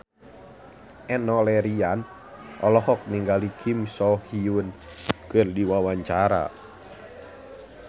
Enno Lerian olohok ningali Kim So Hyun keur diwawancara